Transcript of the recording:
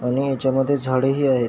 आणि ह्याच्या मध्ये झाडे ही आहेत.